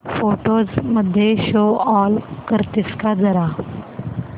photos मध्ये show all करतेस का जरा